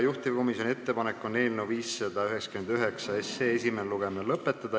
Juhtivkomisjoni ettepanek on eelnõu 599 esimene lugemine lõpetada.